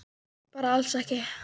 Bara alls ekki.